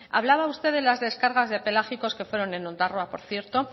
hablaba usted de las descargas de pelágicos que fueron en ondarroa por cierto